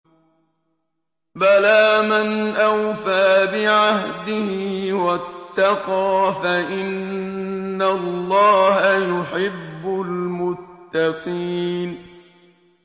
بَلَىٰ مَنْ أَوْفَىٰ بِعَهْدِهِ وَاتَّقَىٰ فَإِنَّ اللَّهَ يُحِبُّ الْمُتَّقِينَ